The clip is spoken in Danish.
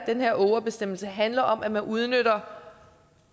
ågerbestemmelse handler om at man udnytter